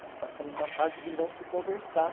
Nós passamos uma fase de não se conversar.